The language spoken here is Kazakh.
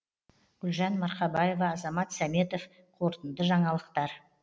гүлжан марқабаева азамат сәметов қорытынды жаңалықтар